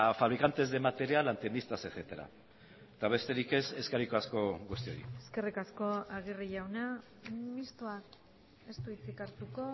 fabricantes de material antenistas etcétera eta besterik ez eskerrik asko guztioi eskerrik asko aguirre jauna mistoa ez du hitzik hartuko